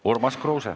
Urmas Kruuse.